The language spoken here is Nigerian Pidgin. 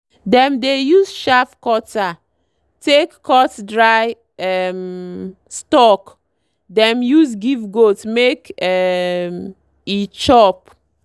dem dey use chaff cutter take cut dry um stalk dem use give goat make um e chop.